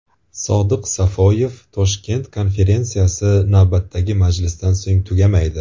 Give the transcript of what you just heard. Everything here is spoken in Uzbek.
Sodiq Safoyev: Toshkent konferensiyasi navbatdagi majlisdan so‘ng tugamaydi.